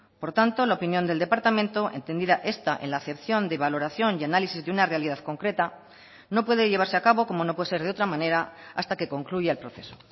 por tanto la opinión del departamento entendida esta en la acepción de valoración y análisis de una realidad concreta no puede llevarse a cabo como no puede ser de otra manera hasta que concluya el proceso